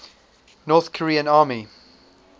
north korean army